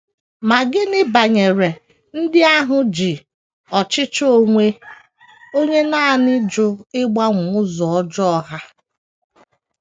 Ma gịnị banyere ndị ahụ ji ọchịchọ onwe onye nanị jụ ịgbanwe ụzọ ọjọọ ha?